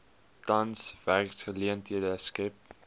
tans werksgeleenthede skep